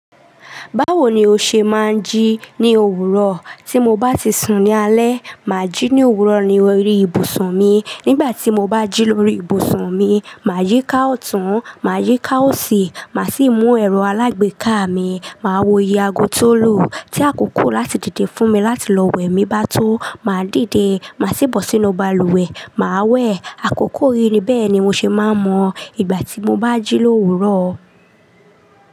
Báwo ni o ṣe máa ń jí ní òwúrọ̀? Tí mo bá ti sùn ní alẹ́, màá jí ní òwúrọ̀ ní orí ibùsùn mi. Nígbà tí mo bá jí lórí ibùsùn mi, màá yí i ká ọ̀tún, màá yí i ká òsì, màá sì mú ẹ̀rọ alágbèéká mi, màá wo iye ago tó lù, tí a kò kò láti dìde fún mi láti lọ wẹ̀ mi bá tó. Màá dìde, màá sì bọ́ sínú balùwẹ̀, màá wẹ̀. Àkókò yìí ni bẹ́ẹ̀ ni mo ṣe máa ń mọ ìgbà tí mo bá jí lóòwúrọ̀.